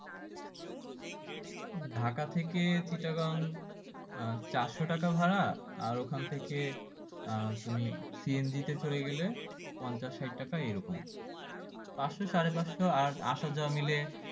ঢাকা থেকে চিটাগাং আহ চারশো টাকা ভাড়া আর ওখান থেকে আহ তুমি সিএনজি তে চলে গেলে পঞ্চাশ ষাট টাকা এই রকম পাঁচশো সাড়েপাঁচশো আর আসা যাওয়া মিলে